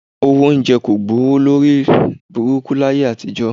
Owó oúnjẹ kò gbówó lórí burúkú láyé àtijọ́